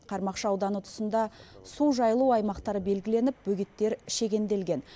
қармақшы ауданы тұсында су жайылу аймақтары белгіленіп бөгеттер шегенделген